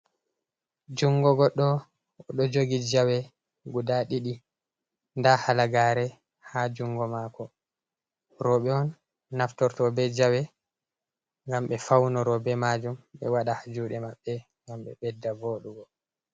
Jungo goɗɗo oɗo jogi jawe guda ɗiɗi nda halagare ha jungo mako roɓɓe on naftorto ɓe jawe gam ɓe faunoro be majum ɓe waɗa ha juɗe maɓɓe gam ɓe ɓedda vodugo.